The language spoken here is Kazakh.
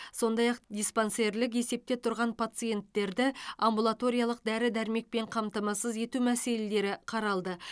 сондай ақ диспансерлік есепте тұрған пациенттерді амбулаториялық дәрі дәрімекпен қамтамасыз ету мәселелері қаралды